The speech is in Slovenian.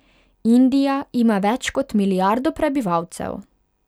Indija ima več kot milijardo prebivalcev.